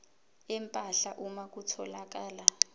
empahla uma kutholakala